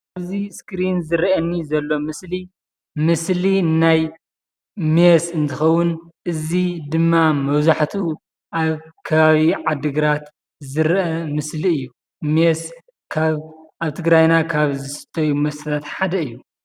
እዚ ስክሪን ዝርአ ዘሎ ምስሊ ናይ ሜስ እንትኸውን እዚ ድማ መብዛሕትኡ ኣብ ኸባቢ ዓድግራት ዝርአ ምስሊ እዩ። ሜስ ካብ ኣብ ትግራይና ዝስተዮ መስታታት ሓደ እዩ